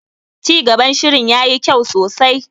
Cigaban shirin yayi kyau sosai.